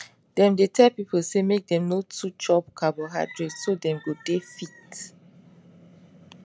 dem dey tell people say make dem no too chop carbohydrate so dem go dey fit